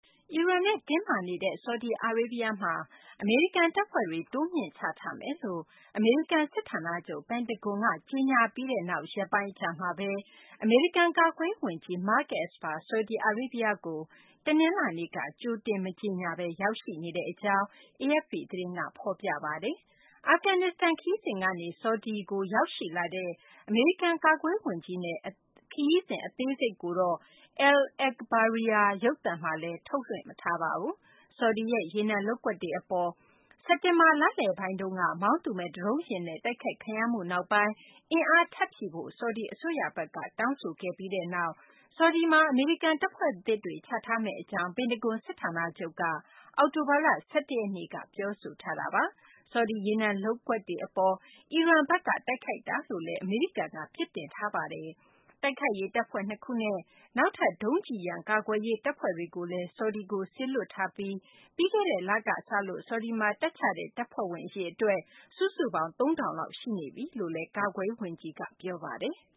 အီရန်နဲ့ တင်းမာနေတဲ့ ဆော်ဒီအာရေးဗျမှာ အမေရိကန် တပ်ဖွဲ့တွေ တိုးမြှင့်ချထားမယ်လို့ အမေရိကန် စစ်ဌာနချုပ် ပင်တဂွန်က ကြေညာပြီးနောက် ရက်ပိုင်း အကြာမှာဘဲ အမေရိကန် ကာကွယ်ရေး ဝန်ကြီး Mark Esper ဆော်ဒီအာရေးဗျကို တနလာၤနေ့က ကြိုတင် မကြေညာဘဲ ရောက်ရှိနေကြောင်း AFP သတင်းက ဖော်ပြပါတယ်။ အာဖဂန်နစ္စတန် ခရီးစဉ်ကနေ ဆော်ဒီအာရေးဗျကို ရောက်ရှိလာတဲ့ အမေရိကန် ကာကွယ်ရေး ဝန်ကြီးရဲ့ ခရီးစဉ် အသေးစိတ်ကိုတော့ Al-Ekhbariyah ရုပ်သံမှာ ထုတ်လွှင့် မသွားပါဘူး။ ဆော်ဒီရဲ့ ရေနံလုပ်ကွက်တွေ အပေါ် စက်တင်ဘာလ လယ်ပိုင်းက မောင်းသူမဲ့ ဒရုန်းယာဉ်နဲ့ တိုက်ခိုက်ခံရမှုနောက်ပိုင်း အင်အား ထပ်ဖြည့်ဖို့ ဆော်ဒီ အစိုးရဘက်က တောင်းဆိုခဲ့ပြီးနောက် ဆော်ဒီမှာ အမေရိကန် တပ်ဖွဲ့သစ်တွေ ချထားမယ့် အကြောင်း ပင်တဂွန် စစ်ဌာနချုပ်က အောက်တိုဘာလ ၁၁ ရက်နေ့က ပြောဆိုထားပါတယ်။ ဆော်ဒီ ရေနံလုပ်ကွက်တွေ အပေါ် အီရန်ဘက်က တိုက်ခိုက်တာလို့လည်း အမေရိကန်က ပြစ်တင်ပြောဆိုထားတာပါ။ တိုက်ခိုက်ရေး တပ်ဖွဲ့ ၂ ခုနဲ့ နောက်ထပ် ဒုံးကျည်ရန် ကာကွယ်ရေး တပ်ဖွဲ့တွေကိုလည်း ဆော်ဒီကို စေလွှတ်ထားပြီး ပြီးခဲ့တဲ့ လက စလို့ ဆော်ဒီမှာ တပ်ချတဲ့ တပ်ဖွဲ့ဝင် အရေအတွက် စုစုပေါင်း ၃၀၀၀ လောက် ရှိနေကြောင်းလည်း အမေရိကန် ကာကွယ်ရေး ဝန်ကြီး Esper က ပြောပါတယ်။